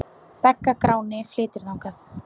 Bagga Gráni flytur þann.